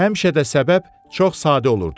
Həmişə də səbəb çox sadə olurdu.